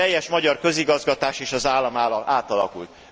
A teljes magyar közigazgatás és az állam átalakult.